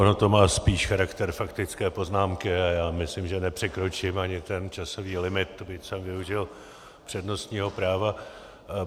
Ono to má spíš charakter faktické poznámky a já myslím, že nepřekročím ani ten časový limit, byť jsem využil přednostního práva.